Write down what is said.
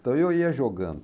Daí eu ia jogando.